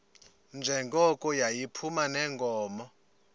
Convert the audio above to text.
njengoko yayiphuma neenkomo